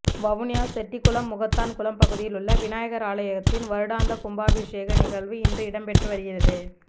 வவுனியா செட்டிகுளம் முகத்தான் குளம் பகுதியில் உள்ள விநாயகர் ஆலயத்தின் வருடாந்த கும்பாபிஷேக நிகழ்வு இன்று இடம்பெற்று வருகிறது